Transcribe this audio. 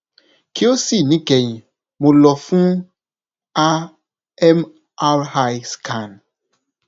ki o si nikẹyin mo lọ fun a mri scan